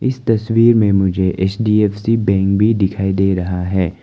इस तस्वीर में मुझे एच_डी_एफ_सी बैंक भी दिखाई दे रहा है।